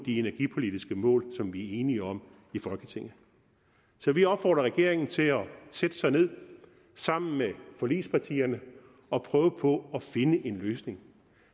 energipolitiske mål som vi er enige om i folketinget så vi opfordrer regeringen til at sætte sig ned sammen med forligspartierne og prøve på at finde en løsning